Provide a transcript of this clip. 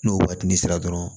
N'o waatini sera dɔrɔn